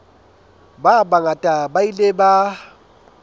ba bangata ba ile ba